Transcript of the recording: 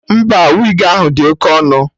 Mba, wigi ahụ dị Oke ọnụ